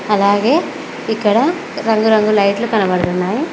అలాగే ఇక్కడ రంగు రంగు లైట్లు కనబడతున్నాయి.